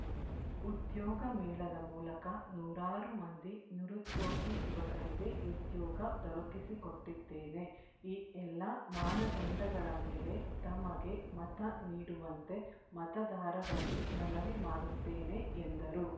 ಉದ್ಯೋಗ ಮೇಳದ ಮೂಲಕ ನೂರಾರು ಮಂದಿ ನಿರುದ್ಯೋಗಿ ಯುವಕರಿಗೆ ಉದ್ಯೋಗ ದೊರಕಿಸಿಕೊಟ್ಟಿದ್ದೇನೆ ಈ ಎಲ್ಲ ಮಾನದಂಡಗಳ ಮೇಲೆ ತಮಗೆ ಮತ ನೀಡುವಂತೆ ಮತದಾರರಲ್ಲಿ ಮನವಿ ಮಾಡುತ್ತೇನೆ ಎಂದರು